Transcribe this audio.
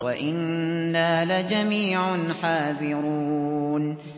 وَإِنَّا لَجَمِيعٌ حَاذِرُونَ